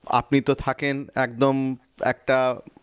আপনি তো থাকেন একদম একটা